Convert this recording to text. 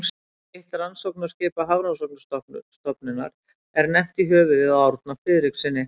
Eitt rannsóknaskipa Hafrannsóknastofnunar er nefnt í höfuðið á Árna Friðrikssyni.